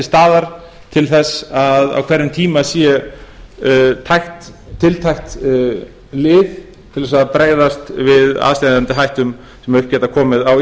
staðar til þess að á hverjum tíma sé tiltækt lið til þess að bregðast við aðsteðjandi hættum sem upp geta komið á